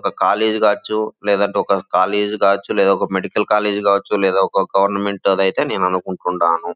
ఒక కాలేజీ ఖర్చు లేదంటే ఒక కాలేజ్ కాచు లేదంటే ఒక మెడికల్ కాలేజ్ కావచ్చు లేదా ఒక గవర్నమెంట్ అయితే నేను అనుకుంటున్నాను.